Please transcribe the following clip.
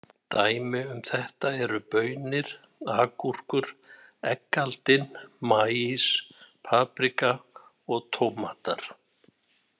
Dæmi um þetta eru baunir, agúrkur, eggaldin, maís, paprika og tómatar.